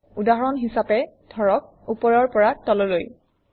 উদাহৰণ হিচাপে ধৰক ওপৰৰ পৰা তললৈ